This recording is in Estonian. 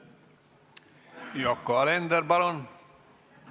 Yoko Alender, palun!